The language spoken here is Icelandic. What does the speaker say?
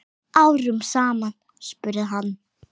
Árum saman? spurði hann.